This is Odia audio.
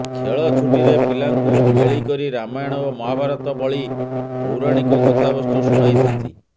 ଖେଳ ଛୁଟିରେ ପିଲାଙ୍କୁ ମେଳିକରି ରାମାୟଣ ଓ ମହାଭାରତ ବଳି ପୌରାଣିକ କଥାବସ୍ତୁ ଶୁଣାଇଥାନ୍ତି